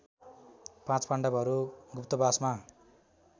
पाँच पाण्डवहरू गुप्तवासमा